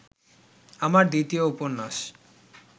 আমার দ্বিতীয় উপন্যাস